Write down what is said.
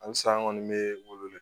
Halisa an kɔni bɛ wele